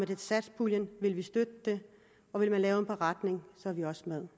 af satspuljen vil vi støtte det og vil man lave en beretning er vi også med